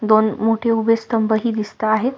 दोन मोठे उभे स्तंभ हि दिसता आहेत.